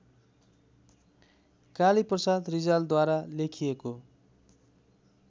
कालीप्रसाद रिजालद्वारा लेखिएको